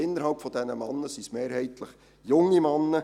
Innerhalb dieser Männer sind es mehrheitlich junge Männer.